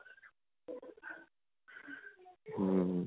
ਹਮ